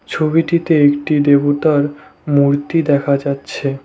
ছবিটিতে একটি দেবতার মূর্তি দেখা যাচ্ছে।